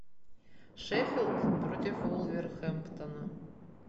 шеффилд против вулверхэмптона